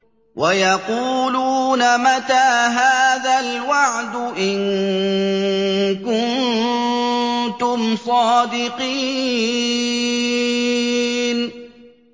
وَيَقُولُونَ مَتَىٰ هَٰذَا الْوَعْدُ إِن كُنتُمْ صَادِقِينَ